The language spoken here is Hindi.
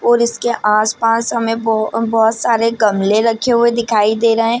और इसके आस पास हमे बहु बहुत सारे गमले रखे हुए दिखाई दे रहे है ।